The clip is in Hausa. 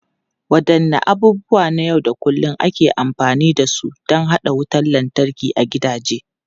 Wadanne abubuwa na yau da kullun ake amfani da su don haɗa wutar lantarki a gidaje?